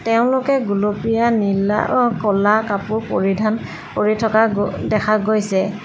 তেওঁলোকে গুলপীয়া নীলা অ ক'লা কাপোৰ পৰিধান কৰি থকা গ দেখা গৈছে।